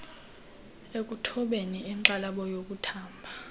ekuthobeni inxalabo yokuthamba